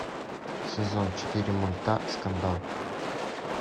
сезон четыре мульта скандал